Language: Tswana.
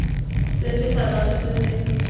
sefe sa batho se se